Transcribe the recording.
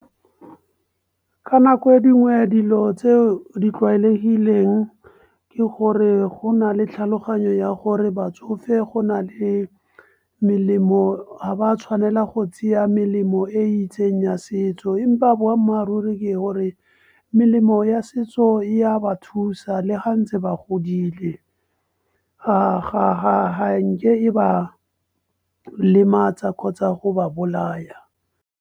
Ka nako e dingwe dilo tseo di tlwaelegileng ke gore go na le tlhaloganyo ya gore batsofe go na le melemo ha ba tshwanela go tseya melemo e itseng ya setso, empa boammaaruri ke gore melemo ya setso e ya ba thusa le ga ntse ba godile ga nke e ba lematsa kgotsa go ba bolaya.